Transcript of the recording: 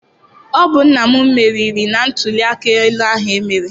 Ọ bụ nna m meriri na ntụliaka ahụ emere.